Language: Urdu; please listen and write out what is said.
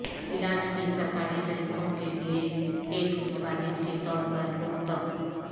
علاج کی سرکاری طریقوں کے لئے ایک متبادل کے طور پر لوک طب